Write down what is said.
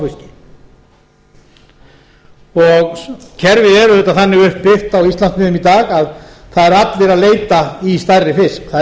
eintómum smáfiski kerfið er auðvitað þannig upp byggt á íslandsmiðum í dag að það eru allir að leita í stærri fisk það er